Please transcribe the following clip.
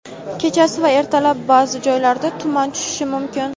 kechasi va ertalab ba’zi joylarga tuman tushishi mumkin.